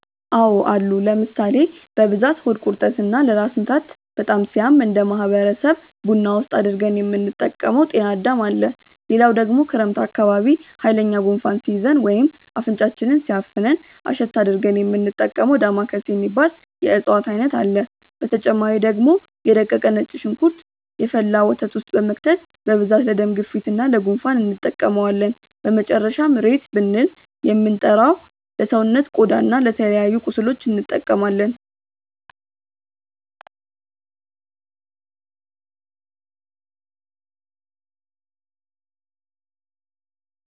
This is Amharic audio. አዎ አሉ ለምሳሌ፦ በብዛት ሆድ ቁርጠት እና ለራስ ምታት በጣም ሲያም እነደ ማህበረሰብ ቡና ውስጥ አድርገን የምንጠቀመው ጤናዳም አለ፣ ሌላው ደግሞ ክረምት አካባቢ ሃይለኛ ጉንፋን ሲይዘን ወይም አፍንጫችንን ሲያፍነን እሽት አድርገን የሚንጠቀመው ዳማከሴ የሚባል የእፅዋት አይነት አለ፣ በተጨማሪ ደግሞ የ ደቀቀ ነጭ ሽንኩርት የፈላ ወተት ውስጥ በመክተት በብዛት ለደም ግፊት እና ለ ጉንፋን እንጠቀመዋለን፣ በመጨረሻም ሬት ብልን የምንጠራው ለሰውነት ቆዳ እና ለተለያዩ ቁስሎች እንጠቀማለን።